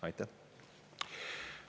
Aitäh!